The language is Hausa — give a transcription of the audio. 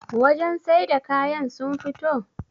wajen sai da kayan sun fito?